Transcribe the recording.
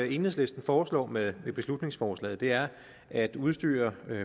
enhedslisten foreslår med beslutningsforslaget er at udstyre